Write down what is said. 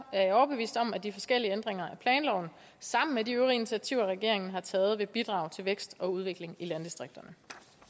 jeg overbevist om at de forskellige ændringer af planloven sammen med de øvrige initiativer regeringen har taget vil bidrage til vækst og udvikling i landdistrikterne